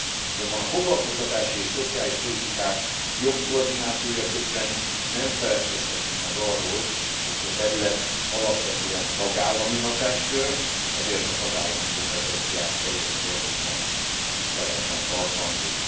Azonban a foglalkoztatási és szociális politikák jobb koordinációja közben nem feledkezhetünk meg arról, hogy ez a terület alapvetően tagállami hatáskör, ezért a tagállami kompetenciák teljes mértékben tiszteletben tartandók.